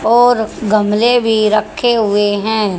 और गमले भी रखे हुए हैं।